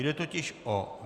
Jde totiž o